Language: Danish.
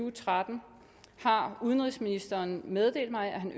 og tretten har udenrigsministeren meddelt mig at han